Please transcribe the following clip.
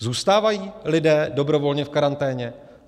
Zůstávají lidé dobrovolně v karanténě?